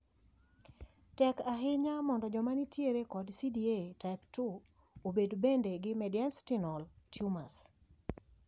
Tek ahinya mondo jomanitiere kod CDA type II obed bende gi mediastinal tumors.